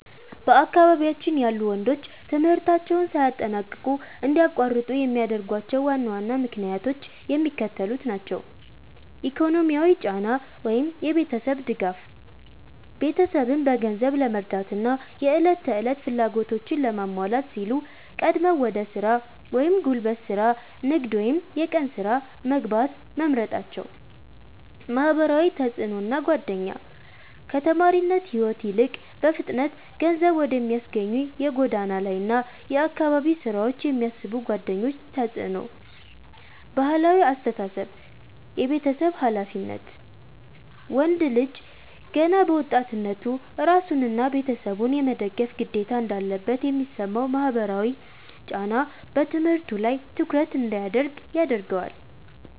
በአካባቢያችን ያሉ ወንዶች ትምህርታቸውን ሳያጠናቅቁ እንዲያቋርጡ የሚያደርጓቸው ዋና ዋና ምክንያቶች የሚከተሉት ናቸው፦ ኢኮኖሚያዊ ጫና (የቤተሰብ ድጋፍ)፦ ቤተሰብን በገንዘብ ለመርዳትና የዕለት ተዕለት ፍላጎቶችን ለማሟላት ሲሉ ቀድመው ወደ ሥራ (ጉልበት ሥራ፣ ንግድ ወይም የቀን ሥራ) መግባት መምረጣቸው። ማህበራዊ ተጽዕኖና ጓደኛ፦ ከተማሪነት ሕይወት ይልቅ በፍጥነት ገንዘብ ወደሚያስገኙ የጎዳና ላይና የአካባቢ ሥራዎች የሚስቡ ጓደኞች ተጽዕኖ። ባህላዊ አስተሳሰብ (የቤተሰብ ኃላፊነት)፦ ወንድ ልጅ ገና በወጣትነቱ ራሱንና ቤተሰቡን የመደገፍ ግዴታ እንዳለበት የሚሰማው ማህበራዊ ጫና በትምህርቱ ላይ ትኩረት እንዳያደርግ ያደርገዋል።